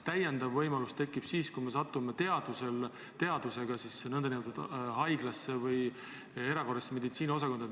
Täiendav võimalus tekib siis, kui me satume teadvusega haiglasse või erakorralise meditsiini osakonda.